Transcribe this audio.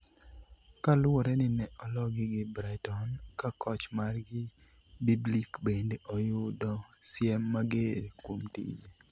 kaluwore ni ne ologi gi Brighton, ka koch margi Biblic bende oyudo siem mager kuom tije